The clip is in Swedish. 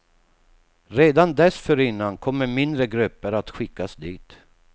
Redan dessförinnan kommer mindre grupper att skickas dit.